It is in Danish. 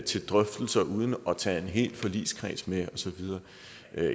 til drøftelser uden at tage en hel forligskreds med og så videre